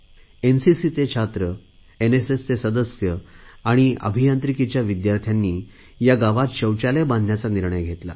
एनसीसीचे छात्र एनएसएसचे सदस्य आणि अभियांत्रिकीच्या विद्यार्थ्यांनी या गावात शौचालय बांधण्याचा निर्णय घेतला